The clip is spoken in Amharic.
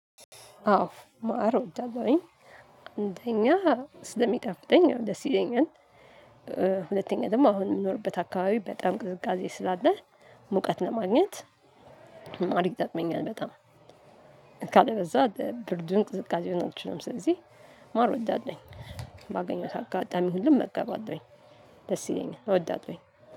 አዎ ማር እወዳለሁኝ አንደኛ ስለሚጣፍጠኝ ደስ ይለኛል። ሁለተኛ ደግሞ አሁን የምኖርበት አካባቢ በጣም ቅዝቃዜ ስላለ። ሙቀት ለማግኘት ማር ይጠቅመኛል በጣም። ካለበለዚያ ብርዱን ቅዝቃዜውን አልችለውም። ስለዚህ ማር እወዳለሁኝ ባገኘሁት አጋጣሚ ሁሉ እመገባለሁኝ። ደስ ይለኛል እወዳለሁኝ